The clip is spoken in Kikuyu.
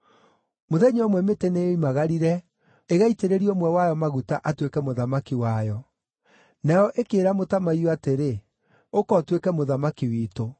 Mũthenya ũmwe mĩtĩ nĩyoimagarire ĩgaitĩrĩrie ũmwe wayo maguta atuĩke mũthamaki wayo. Nayo ĩkĩĩra mũtamaiyũ atĩrĩ, ‘Ũka ũtuĩke mũthamaki witũ.’